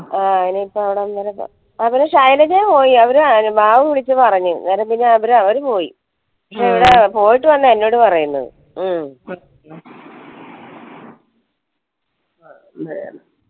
ആ ഇനി ഇപ്പം അവിടം വരെ പോവ ശൈലജ പോയി അവര് ബാബു വിളിച് പറഞ്ഞു എന്നേരം പിന്നെ അവര് പോയി പോയിട്ട് വന്നാ എന്നോട് പറയുന്നത്